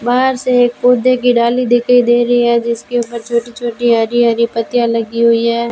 बाहर से पौधे की डाली दिखाई दे रही है जिसके ऊपर छोटी छोटी हरी हरी पत्तियां लगी हुई है।